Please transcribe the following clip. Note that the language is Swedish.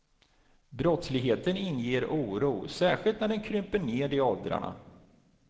Brottsligheten inger oro, särskilt när den kryper ned i åldrarna.